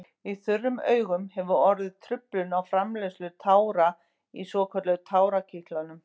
Í þurrum augum hefur orðið truflun á framleiðslu tára í svokölluðum tárakirtlum.